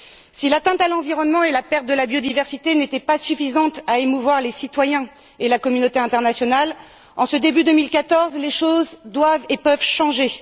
Si l'atteinte à l'environnement et la perte de la biodiversité n'ont pas été suffisantes pour émouvoir les citoyens et la communauté internationale, en ce début d'année 2014, les choses doivent et peuvent changer.